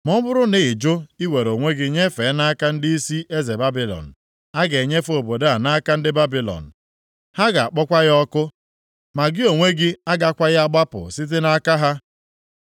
Ma ọ bụrụ na ị jụ iwere onwe gị nyefee nʼaka ndịisi eze Babilọn, a ga-enyefe obodo a nʼaka ndị Babilọn. Ha ga-akpọkwa ya ọkụ, ma gị onwe gị agakwaghị agbapụ site nʼaka ha.’ ”